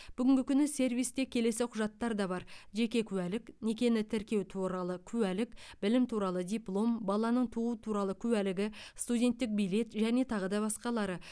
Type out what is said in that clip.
бүгінгі күні сервисте келесі құжаттар да бар жеке куәлік некені тіркеу туралы куәлік білім туралы диплом баланың туу туралы куәлігі студенттік билет және тағы да басқалары